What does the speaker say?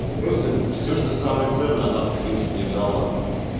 да просто всё что самое ценное она то в принципе мне дала